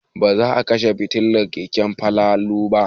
Za a kashe fitilar keken Falalu.